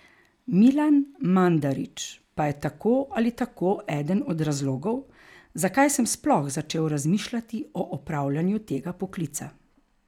Milan Mandarić pa je tako ali tako eden od razlogov, zakaj sem sploh začel razmišljati o opravljanju tega poklica.